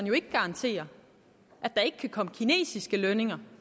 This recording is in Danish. jo ikke garantere at der ikke komme kinesiske lønninger